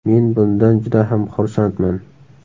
Men bundan juda ham xursandman.